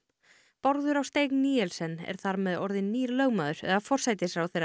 Bárður á steig er þar með orðinn nýr lögmaður eða forsætisráðherra